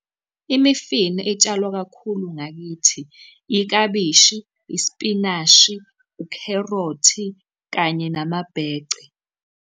Imifino etshalwa kakhulu ngakithi, iklabishi, ispinashi, ukherothi, kanye namabhece.